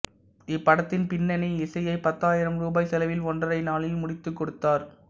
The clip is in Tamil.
இப்படத்தின் பின்னணி இசையை பத்தாயிரம் ரூபாய் செலவில் ஒன்றரை நாளில் முடித்துக்கொடுத்தார்